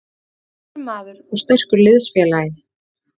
Hann er sterkur maður og sterkur liðsfélagi.